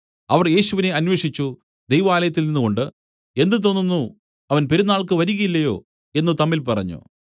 അവർ യേശുവിനെ അന്വേഷിച്ചു ദൈവാലയത്തിൽ നിന്നുകൊണ്ടു എന്ത് തോന്നുന്നു അവൻ പെരുന്നാൾക്ക് വരികയില്ലയോ എന്നു തമ്മിൽ പറഞ്ഞു